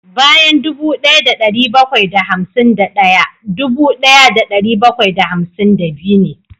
Bayan dubu daya da dari bakwai da hamsin daya dubu daya da dari bakwai da hamsin da biyu ne